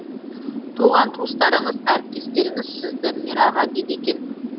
туған туыстарыңыз әріптестеріңіз сізді мәраға дейді екен